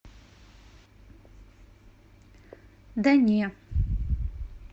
да не